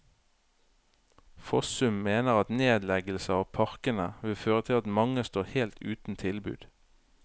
Fossum mener at nedleggelse av parkene vil føre til at mange står helt uten tilbud.